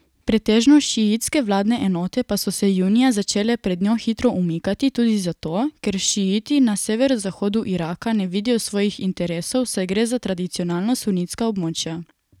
Pretežno šiitske vladne enote pa so se junija začele pred njo hitro umikati tudi zato, ker šiiti na severozahodu Iraka ne vidijo svojih interesov, saj gre za tradicionalno sunitska območja.